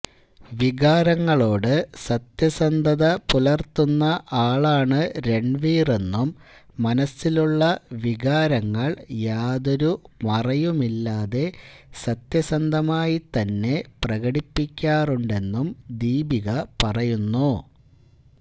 വികാരങ്ങളോട് സത്യസന്ധത പുലർത്തുന്ന ആളാണ് രൺവീറെന്നും മനസ്സിലുള്ള വികാരങ്ങൾ യാതൊരു മറയുമില്ലാതെ സത്യസന്ധമായിത്തന്നെ പ്രകടിപ്പിക്കാറുണ്ടെന്നും ദീപിക പറയുന്നു